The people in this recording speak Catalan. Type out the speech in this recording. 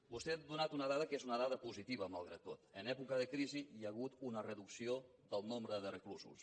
vostè ha donat una dada que és una dada positiva malgrat tot en època de crisi hi ha hagut una reducció del nombre de reclusos